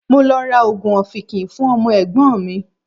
Mo lọ ra oògùn ọ̀fìnkìn fún ọmọ Ẹ̀gbọ́n mi.